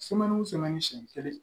siɲɛn kelen